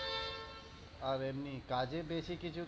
আর এমনি কাজে বেশি কিছু